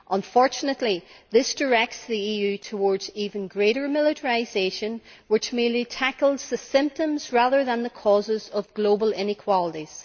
Unfortunately, this directs the EU towards even greater militarisation, which merely tackles the symptoms, rather than the causes, of global inequalities.